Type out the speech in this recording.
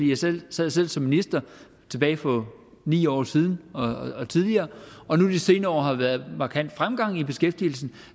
jeg selv sad som som minister tilbage for ni år siden og tidligere og nu de senere år har været markant fremgang i beskæftigelsen